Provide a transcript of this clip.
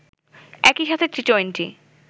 একই সাথে টি-টোয়েন্টি